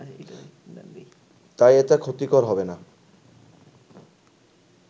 তাই এটা ক্ষতিকর হবেনা